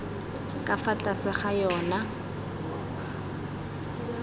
ka fa tlase ga yona